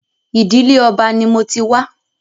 Ìdílé Ọba ni mo ti wá.